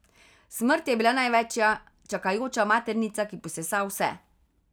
Smrt je bila največja čakajoča maternica, ki posesa vse.